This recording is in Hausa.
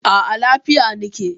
A a, lafiya na ke.